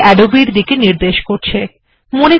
এখন এটি Adobe এর দিকে নির্দেশ করছে